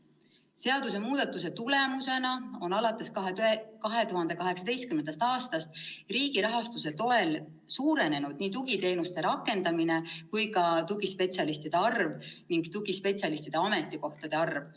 Seadusemuudatuse tulemusena on alates 2018. aastast riigi rahastuse toel suurenenud nii tugiteenuste rakendamine kui ka tugispetsialistide arv ja tugispetsialistide ametikohtade arv.